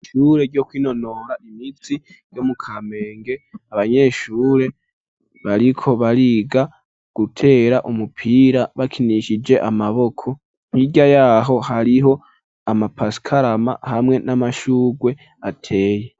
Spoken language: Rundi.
Ishuri ryo kwinonora imitsi ryo mukamenge , abanyeshure bariko bariga gutera umupira bakinishije umupira ,hirya yaho hariho amapasikarama ,hamwe n'amashurwe ateye.